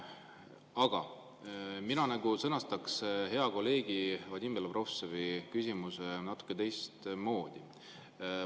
Aga mina sõnastaks hea kolleegi Vadim Belobrovtsevi küsimuse natuke teistmoodi.